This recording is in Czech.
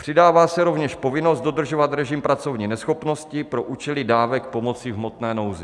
Přidává se rovněž povinnost dodržovat režim pracovní neschopnosti pro účely dávek pomoci v hmotné nouzi.